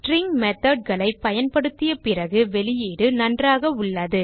string methodகளை பயன்படுத்திய பிறகு வெளியீடு நன்றாக உள்ளது